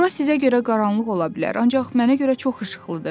Bura sizə görə qaranlıq ola bilər, ancaq mənə görə çox işıqlıdır.